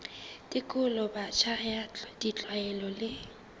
tekolo botjha ya ditlwaelo le